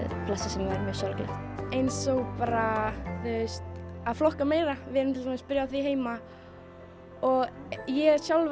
sem er mjög sorglegt eins og bara að flokka meira við erum byrjuð á því heima og ég er sjálf